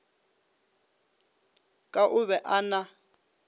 ka o be a na